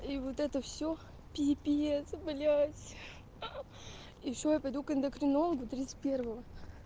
и вот это все пипец блядь и ещё я пойду к эндокринологу тридцать первого